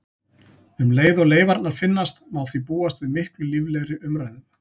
Um leið og leifarnar finnast má því búast við miklu líflegri umræðum.